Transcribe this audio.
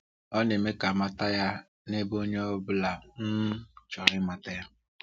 Ọ na-eme ka a mata ya n’ebe onye ọ bụla um chọrọ ịmata ya.